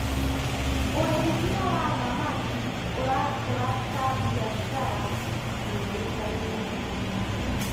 ũrĩithia wa thamaki ũrakũra ta mbiacara yũĩkaine.